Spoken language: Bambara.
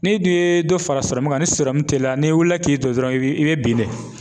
N'i dun ye dɔ fara sɔrɔmun kan, ni sɔrɔmun teliyala n'i wulila k'i jɔ dɔrɔn i b'i bin de.